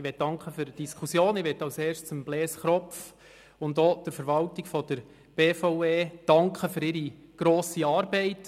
Ich danke für die Diskussion sowie Blaise Kropf und auch der Verwaltung der BVE für ihre grosse Arbeit.